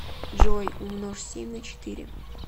джой умножь семь на четыре